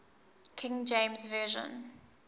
king james version